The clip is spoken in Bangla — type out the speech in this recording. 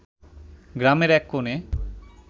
গ্রামের এক কোনে